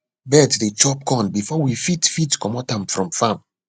birds dey chop corn before we fit fit commot am from farm